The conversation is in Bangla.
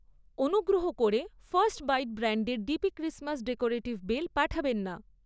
অনুগ্রহ করে ফার্স্ট বাইট ব্র্যান্ডের ডিপি ক্রিসমাস ডেকোরেটিভ বেল পাঠাবেন না।